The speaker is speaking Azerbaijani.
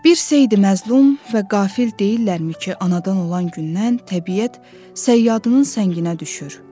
Bir seyidi məzlum və qafil deyillərmi ki, anadan olan gündən təbiət səyyadının sənginə düşür.